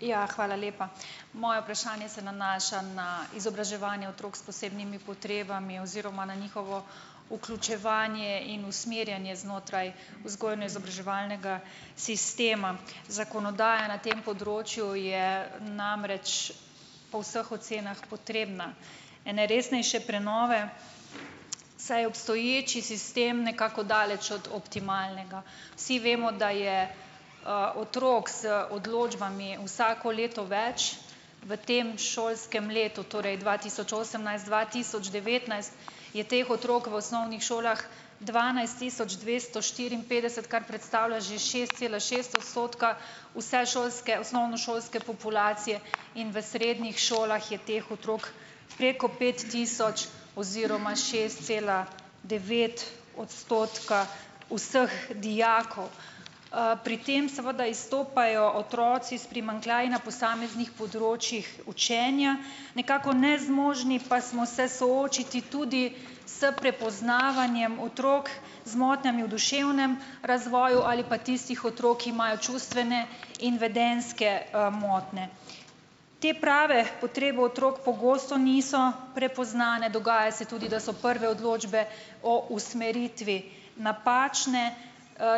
Ja, hvala lepa. Moje vprašanje se nanaša na izobraževanje otrok s posebnimi potrebami oziroma na njihovo vključevanje in usmerjanje znotraj vzgojno-izobraževalnega sistema. Zakonodaja na tem področju je namreč po vseh ocenah potrebna ene resnejše prenove, saj obstoječi sistem nekako daleč od optimalnega. Vsi vemo, da je, otrok z odločbami vsako leto več, v tem šolskem letu, torej dva tisoč osemnajst-dva tisoč devetnajst, je teh otrok v osnovnih šolah dvanajst tisoč dvesto štiriinpetdeset, kar predstavlja že šest cela šest odstotka vse šolske, osnovnošolske populacije, in v srednjih šolah je teh otrok preko pet tisoč oziroma šest cela devet odstotka vseh dijakov. pri tem seveda izstopajo otroci s primanjkljaji na posameznih področjih učenja. Nekako nezmožni pa smo se soočiti tudi s prepoznavanjem otrok z motnjami v duševnem razvoju ali pa tistih otrok, ki imajo čustvene in vedenjske, motnje. Te prave potrebe otrok pogosto niso prepoznane, dogaja se tudi, da so prve odločbe o usmeritvi napačne,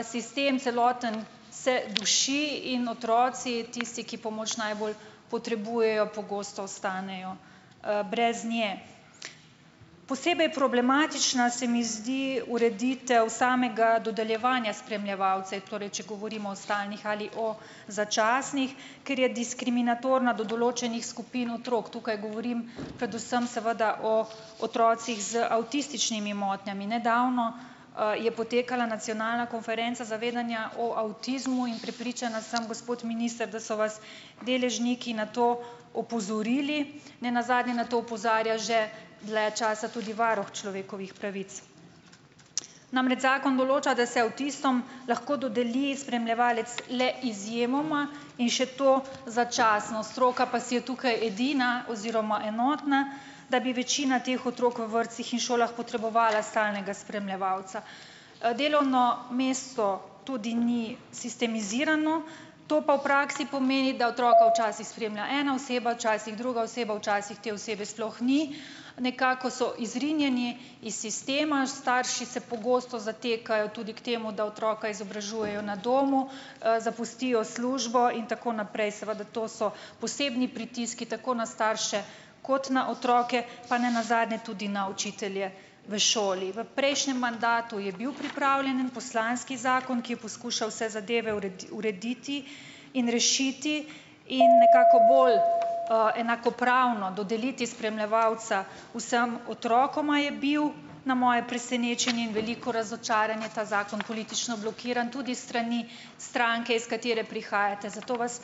sistem celoten se duši in otroci, tisti , ki pomoč najbolj potrebujejo, pogosto ostanejo, brez nje. Posebej problematična se mi zdi ureditev samega dodeljevanja spremljevalcev, torej če govorimo o stalnih ali o začasnih, ker je diskriminatorna do določenih skupin otrok. Tukaj govorim predvsem seveda o otrocih z avtističnimi motnjami. Nedavno, je potekala nacionalna konferenca zavedanja o avtizmu in prepričana sem , gospod minister, da so vas deležniki na to opozorili. Nenazadnje na to opozarja že dlje časa tudi varuh človekovih pravic. Namreč zakon določa, da se avtistom lahko dodeli spremljevalec le izjemoma in še to začasno. Stroka pa si je tukaj edina oziroma enotna, da bi večina teh otrok v vrtcih in šolah potrebovala stalnega spremljevalca. delovno mesto tudi ni sistemizirano, to pa v praksi pomeni, da otroka včasih spremlja ena oseba, včasih druga oseba, včasih te osebe sploh ni. Nekako so izrinjeni iz sistema. Starši se pogosto zatekajo tudi k temu, da otroka izobražujejo na domu, zapustijo službo in tako naprej. Seveda to so posebni pritiski, tako na starše kot na otroke, pa nenazadnje tudi na učitelje v šoli. V prejšnjem mandatu je bil pripravljen en poslanski zakon, ki je poskušal vse zadeve urediti in rešiti in nekako bolj , enakopravno dodeliti spremljevalca vsem otrokom, je bil na moje presenečenje in veliko razočaranje ta zakon politično blokiran tudi strani stranke, iz katere prihajate, zato vas ...